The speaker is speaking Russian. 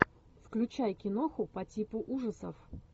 включай киноху по типу ужасов